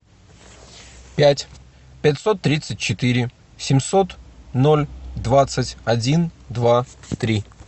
пять пятьсот тридцать четыре семьсот ноль двадцать один два три